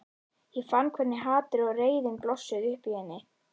Ég fann hvernig hatrið og reiðin blossuðu upp í henni.